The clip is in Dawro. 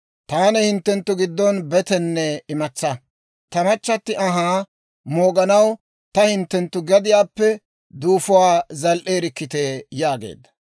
«Taani hinttenttu giddon betenne imatsaa; ta machchatti anhaa mooganaw taw hinttenttu gadiyaappe duufuwaa zal"eerikkitee!» yaageedda.